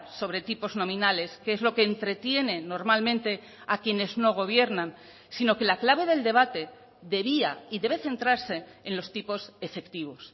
sobre tipos nominales que es lo que entretiene normalmente a quienes no gobiernan sino que la clave del debate debía y debe centrarse en los tipos efectivos